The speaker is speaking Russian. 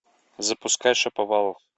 запускай шаповалов